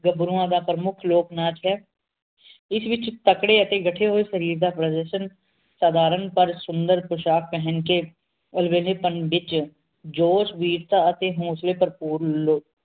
ਗੱਭਰੂਆਂ ਦਾ ਪ੍ਰਮੁੱਖ ਲੋਕਨਾਚ ਹੈ ਇਸ ਵਿਚ ਤਕੜੇ ਅਤੇ ਗੱਠੇ ਹੋਏ ਸ਼ਰੀਰ ਦਾ ਪਰਦਰਸ਼ਨ ਸਾਧਾਰਨ ਪਰ ਸੁੰਦਰ ਪੋਸ਼ਾਕ ਪਹਿਨਕੇ ਜੋਸ਼ ਵੀਰਤਾ ਅਤੇ ਹੋਂਸਲੇ ਪ੍ਰਭੁਰ ਲੋਕ